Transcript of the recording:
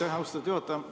Aitäh, austatud juhataja!